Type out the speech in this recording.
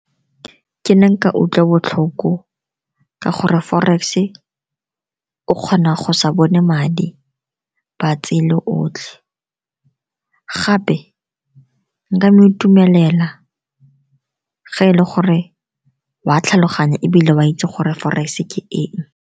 Ke ne nka utlwa botlhoko ka gore forex-e o kgona go sa bone madi ba tseye otlhe. Gape nka mo itumelela ga e le gore wa tlhaloganya ebile ba itse gore forex ke eng.